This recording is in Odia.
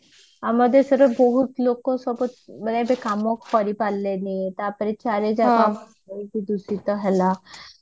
ଆମ ଦେଶରେ ବହୁତ ଲୋକ ସବୁ ମାନେ ଏବେ କାମ କରିପାରିଲେନି ତାପରେ ଚାରିଜାଗା ବହୁତ ଦୂଷିତ ହେଲା